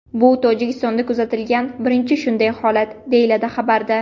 Bu Tojikistonda kuzatilgan birinchi shunday holat, deyiladi xabarda.